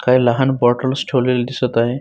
काही लहान बॉटलस ठेवलेले दिसत आहे.